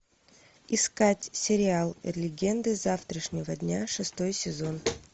искать сериал легенды завтрашнего дня шестой сезон